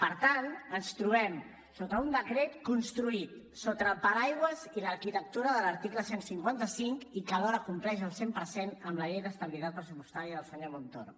per tant ens trobem sota un decret construït sota el paraigua i l’arquitectura de l’article cent i cinquanta cinc i que alhora compleix al cent per cent amb la llei d’estabilitat pressupostària del senyor montoro